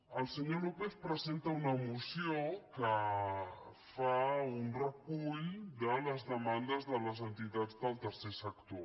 el senyor lópez presenta una moció que fa un recull de les demandes de les entitats del tercer sector